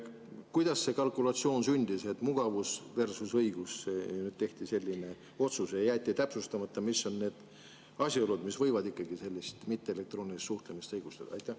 Kuidas see kalkulatsioon sündis, et mugavus versus õigus tehti selline otsus ja jäeti täpsustamata, mis on need asjaolud, mis võivad ikkagi mitteelektroonilist suhtlemist õigustada?